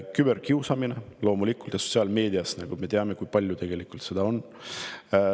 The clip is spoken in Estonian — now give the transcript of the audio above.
Küberkiusamine, loomulikult, me ju teame, kui palju seda sotsiaalmeedias tegelikult on.